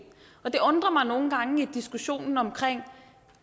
og det undrer mig nogle gange i diskussionen omkring